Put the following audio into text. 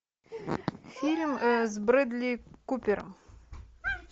фильм с брэдли купером